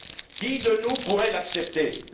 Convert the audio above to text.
Qui de nous pourrait accepter cela?